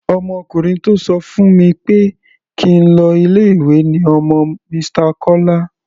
Ọmọkùnrin tó sọ fún mi pé kí n lọ ilé-ìwé ni ọmọ Mr. Kọ́lá.